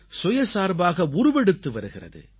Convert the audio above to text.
சுயசார்பாக உருவெடுத்து வருகிறது